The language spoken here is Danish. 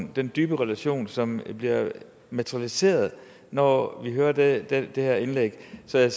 vi den dybe relation som bliver materialiseret når vi hører det det her indlæg så jeg